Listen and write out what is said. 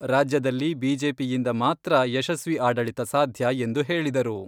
ರಾಜ್ಯದಲ್ಲಿ ಬಿಜೆಪಿಯಿಂದ ಮಾತ್ರ ಯಶಸ್ವಿ ಆಡಳಿತ ಸಾಧ್ಯ ಎಂದು ಹೇಳಿದರು.